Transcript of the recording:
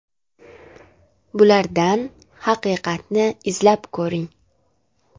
Bulardan haqiqatni izlab ko‘ring.